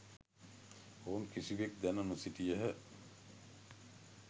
ඔවුන් කිසිවෙක් දැන නොසිටියහ